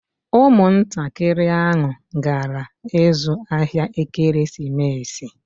Ụmụntakịrị ahụ gara ịzụ ahịa ekeresimesi